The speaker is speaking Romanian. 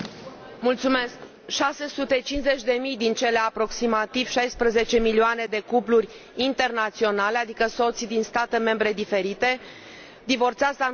650 de mii din cele aproximativ 16 milioane de cupluri internaționale, adică soți din state membre diferite, divorțează anual în Uniune.